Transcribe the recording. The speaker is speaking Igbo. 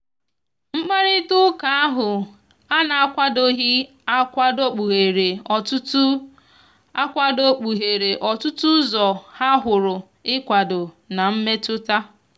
mgbakarita ụka ahu ana akwadoghi akwadokpuhere otụtụ akwadokpuhere otụtụ ụzọ ha huru ikwado na mmetụta.